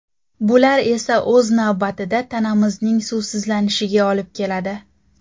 Bular esa o‘z navbatida tanamizning suvsizlanishiga olib keladi.